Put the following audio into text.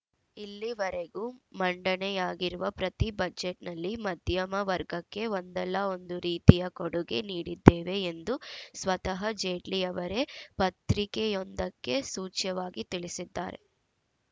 ಇಲ್ಲಿವರೆಗೂ ಮಂಡನೆಯಾಗಿರುವ ಪ್ರತಿ ಬಜೆಟ್‌ನಲ್ಲಿ ಮಧ್ಯಮವರ್ಗಕ್ಕೆ ಒಂದಲ್ಲಾ ಒಂದು ರೀತಿಯ ಕೊಡುಗೆ ನೀಡಿದ್ದೇವೆ ಎಂದು ಸ್ವತಃ ಜೇಟ್ಲಿ ಅವರೇ ಪತ್ರಿಕೆಯೊಂದಕ್ಕೆ ಸೂಚ್ಯವಾಗಿ ತಿಳಿಸಿದ್ದಾರೆ